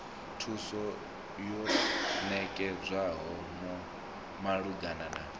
thuso yo ṋetshedzwaho malugana na